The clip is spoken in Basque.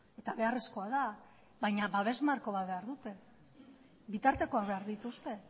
eta beharrezkoa da baina babes marko bat behar dute bitartekoak behar dituzte